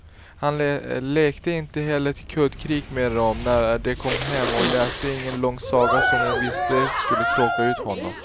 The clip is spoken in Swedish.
Han lekte inte heller kuddkrig med dem när de kom hem och läste ingen lång saga som hon visste skulle tråka ut honom.